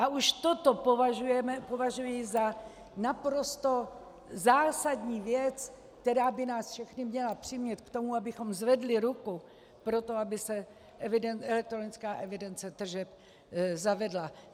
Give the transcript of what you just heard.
A už toto považuji za naprosto zásadní věc, která by nás všechny měla přimět k tomu, abychom zvedli ruku pro to, aby se elektronická evidence tržeb zavedla.